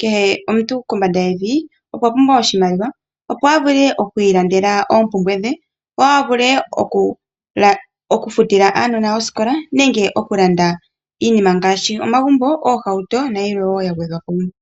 Kehe omuntu kombanda yevi okwa pumbwa oshimaliwa opo avule okwiilandela oompumbwe dhe, opo avule okufutila aanona osikola nenge okulanda iinima ngaashi omagumbo, oohauto nayilwe yagwedhwapo yimwe.